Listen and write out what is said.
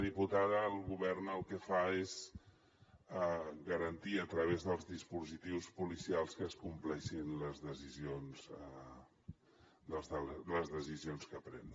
diputada el govern el que fa és garantir a través dels dispositius policials que es compleixin les decisions que pren